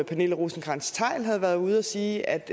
pernille rosenkrantz theil havde været ude at sige at